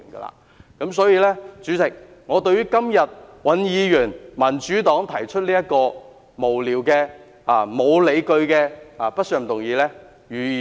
有鑒於此，代理主席，我反對尹議員、民主黨今天提出的這項無聊、沒有理據的不信任議案。